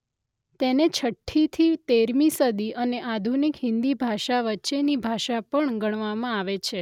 તેને છઠ્ઠીથી તેરમી સદી અને અાધુનિક હિન્દી ભાષા વચ્ચેની ભાષા પણ ગણવામાં આવે છે.